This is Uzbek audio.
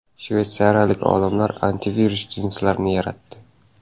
Shveysariyalik olimlar antivirus jinsilarni yaratdi.